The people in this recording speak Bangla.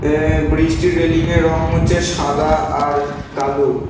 এ-এ ব্রিজ -টির রেলিং - এ রং হচ্ছে সাদা আর কালো ।